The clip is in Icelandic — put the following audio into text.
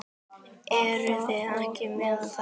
Eruð þið ekki með þetta?